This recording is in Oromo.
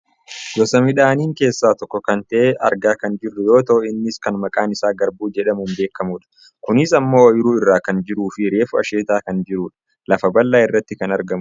gosa midhaaniin keessaa tokko kan ta'e argaa kan jirru yoo ta'u innis kan maqaan isaa garbuu jedhamuun beekkamudha. kunis ammoo ooyiruu irra kan jiruufi reefu asheetaa kan jirudha. lafa bal'aa irratti kan argamudha.